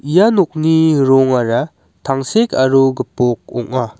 ia nokni rongara tangsek aro gipok ong·a.